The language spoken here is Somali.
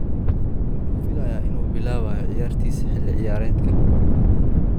Wuxuu filayaa inuu bilaabayo ciyaarista xilli ciyaareedkan.